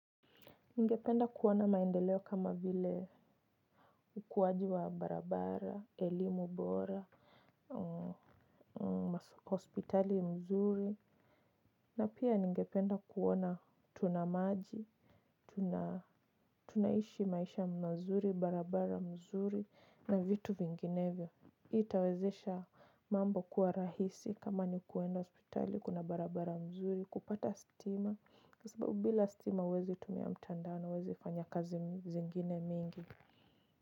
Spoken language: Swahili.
Ningependa kuwa na maendeleo kama vile ukuwaji wa barabara, elimu bora, hospitali mzuri, na pia ningependa kuona tuna maji, tunaishi maisha mazuri, barabara mzuri, na vitu vinginevyo. Itawezesha mambo kuwa rahisi kama ni kuenda hospitali kuna barabara mzuri kupata stima kwa sababu bila stima huwezi tumia mtandao na huwezi fanya kazi zingine mingi.